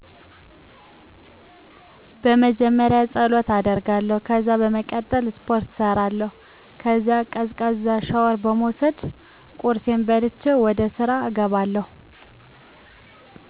በመጀመሪያ ፀሎት አደርጋለሁ። ከዛ በመቀጠል ስፖርት እሰራለሁ። ከዛም ቀዝቃዛ ሻውር በመውሰድ ቁርሴን በልቸ ወደስራ እገባለሁ።